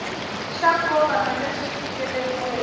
xa nkoka na leswi fikeleriweke